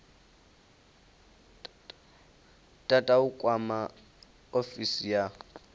tata u kwama ofisi ya